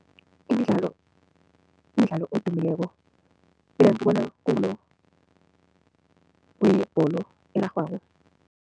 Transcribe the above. Imidlalo umdlalo odumileko, mina ngibona kungulo oyibholo erarhwako.